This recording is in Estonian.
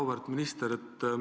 Auväärt minister!